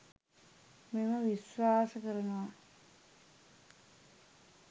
මම විශ්වාස කරනවා.